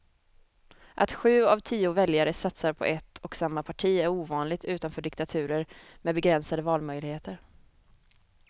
Att sju av tio väljare satsar på ett och samma parti är ovanligt utanför diktaturer med begränsade valmöjligheter.